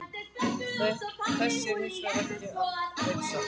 Þessu er hins vegar ekki að heilsa.